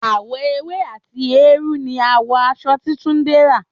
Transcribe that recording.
Àwọ̀ ewé àti eérú ni àwọ̀ aṣọ tí Túndé rán